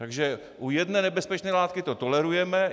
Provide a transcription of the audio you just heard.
Takže u jedné nebezpečné látky to tolerujeme.